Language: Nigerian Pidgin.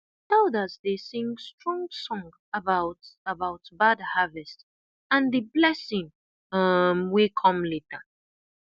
elders dey sing strong song about about bad harvest and the blessing um wey come later